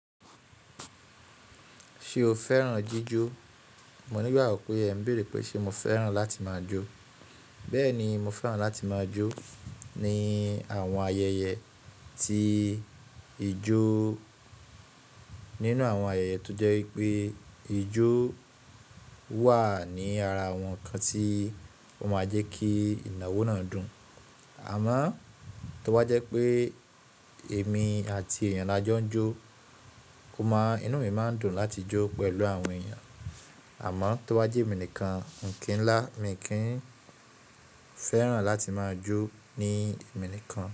Ṣé o fẹ́ràn jíjó? Mo nígbàwọ̀ pé ẹ n béèrè pé ṣé mo fẹ́ràn láti máa jó. Bẹ́ẹ̀ ni, mo fẹ́ràn láti máa jó ní àwọn ayẹyẹ tí ijó, nínú àwọn ayẹyẹ tó jẹ́ wípé ijó wà ní ara àwọn ǹkan tí ó máa jẹ́ kí ìnáwó náà dùn. Àmọ́ tó bá jẹ́ pé èmi àti èèyàn la jọ ń jó, ó máa, inú mi máa ń dùn láti jó pẹ̀lú àwọn èèyàn. Àmọ́ tó bá jẹ́ èmi nìkan, ǹkí ńlá, mi kì í fẹ́ràn láti máa jó ní èmi nìkan.